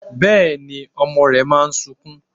Bẹ́ẹ̀ni, ọmọ rẹ máa sunkún.